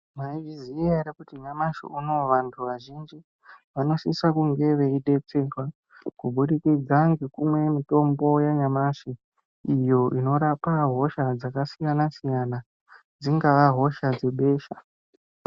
Maizviziva here kuti nyamashi unowu vantu vazhinji vanosisa kunge veidetsererwa nekunge kuburikidza nekumwa mitombo yanyamashi iyo inorapa hosha dzakasiyana siyana dzingava hosha dzebesha.